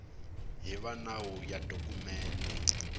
hi va nawu ya dokumende